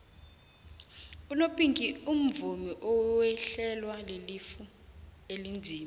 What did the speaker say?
unopinki umvumi owehlelwa lilifa elinzima